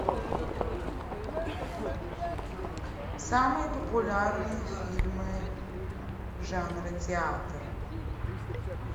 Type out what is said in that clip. самые популярные фильмы жанра театр